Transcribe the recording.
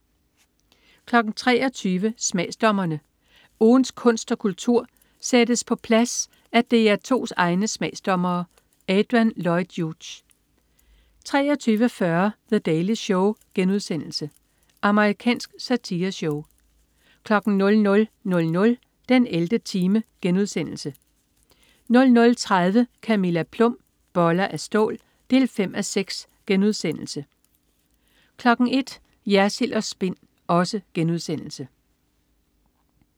23.00 Smagsdommerne. Ugens kunst og kultur sættes på plads af DR2's egne smagsdommere. Adrian Lloyd Hughes 23.40 The Daily Show.* Amerikansk satireshow 00.00 den 11. time* 00.30 Camilla Plum. Boller af stål 5:6* 01.00 Jersild & Spin*